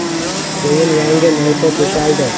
Keyin yangi maysa to‘shaldi.